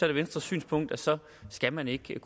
det venstres synspunkt at så skal man ikke